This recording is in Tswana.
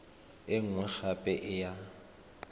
e nngwe gape e ya